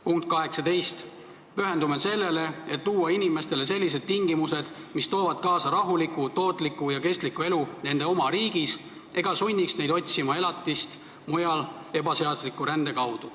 " Punkt 18: "Pühendume sellele, et luua inimestele .. tingimused, mis toovad kaasa rahuliku, tootliku ja kestliku elu nende oma riigis .. sunniks neid otsima elatist mujal ebaseadusliku rände kaudu.